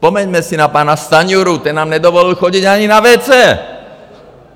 Vzpomeňme si na pana Stanjuru, ten nám nedovolil chodit ani na WC!